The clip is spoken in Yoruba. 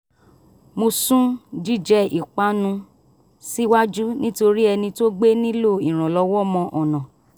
mo sún jíjẹ ìpanu síwájú nítorí ẹni tó gbé nílò ìrànlọ́wọ́ mọ ọ̀nà